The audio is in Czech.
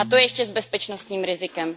A to ještě s bezpečnostním rizikem.